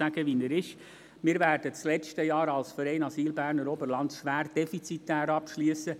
Der Verein Asyl Berner Oberland wird das vergangene Jahr schwer defizitär abschliessen.